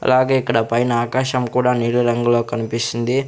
అలాగే ఇక్కడ పైన ఆకాశం కూడా నీలి రంగులో కన్పిస్తుంది.